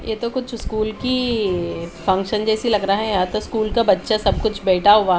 ये तो कुछ स्कूल की फंक्शन जेसी लग रहा है यहा तो स्कूल का बच्चा सब कुछ बेठा हुआ --